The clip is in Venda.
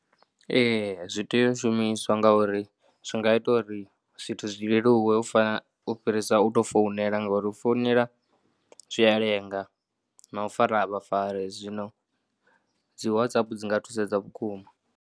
Ee, zwi tea u shumiswa nga uri zwi nga ita uri zwithu zwi leluwe u fa, u fhirisa u tou founela ngauri u founela zwi a lenga na u fara a vha fari zwino dzi WhatsApp dzi nga thusedza vhukuma.